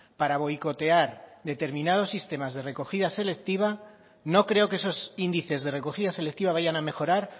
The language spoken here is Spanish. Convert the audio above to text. para boicotear determinados sistemas de recogida selectiva no creo que esos índices de recogida selectiva vayan a mejorar